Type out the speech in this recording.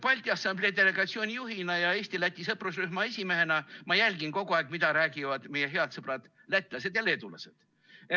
Balti Assamblee delegatsiooni juhina ja Eesti-Läti sõprusrühma esimehena ma jälgin kogu aeg, mida räägivad meie head sõbrad lätlased ja leedulased.